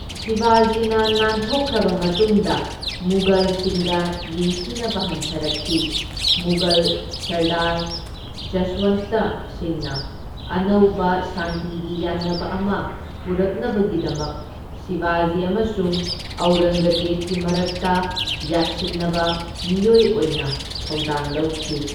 ꯁꯤꯕꯥꯖꯤꯅ ꯅꯥꯟꯊꯣꯛꯈ꯭ꯔꯕ ꯃꯇꯨꯡꯗ ꯃꯨꯘꯜꯁꯤꯡꯒ ꯌꯦꯡꯊꯤꯅꯕ ꯍꯟꯊꯔꯛꯈꯤ, ꯃꯨꯘꯜ ꯁꯔꯗꯥꯔ ꯖꯁ꯭ꯋꯟꯇ ꯁꯤꯡꯅ ꯑꯅꯧꯕ ꯁꯥꯟꯇꯤꯒꯤ ꯌꯥꯟꯅꯕ ꯑꯃ ꯄꯨꯔꯛꯅꯕꯒꯤꯗꯃꯛ ꯁꯤꯕꯥꯖꯤ ꯑꯃꯁꯨꯡ ꯑꯧꯔꯪꯒꯖꯦꯕꯀꯤ ꯃꯔꯛꯇ ꯌꯥꯁꯤꯟꯅꯕ ꯃꯤꯑꯣꯏ ꯑꯣꯏꯅ ꯊꯧꯗꯥꯡ ꯂꯧꯈꯤ꯫